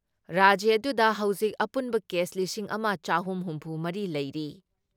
ꯔꯥꯖ꯭ꯌ ꯑꯗꯨꯗ ꯍꯧꯖꯤꯛ ꯑꯄꯨꯟꯕ ꯀꯦꯁ ꯂꯤꯁꯤꯡ ꯑꯃ ꯆꯍꯨꯝ ꯍꯨꯝꯐꯨ ꯃꯔꯤ ꯂꯩꯔꯤ ꯫